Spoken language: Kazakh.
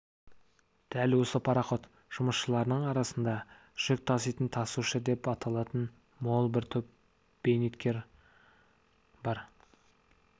дәл осы пароход жұмысшыларының арасында жүк таситын тасушы деп аталатын мол бір топ бейнетқор бар